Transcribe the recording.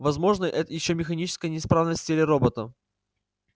возможна это ещё механическая неисправность в теле робота